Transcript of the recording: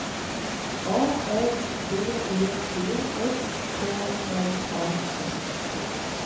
A R B E T S K R A F T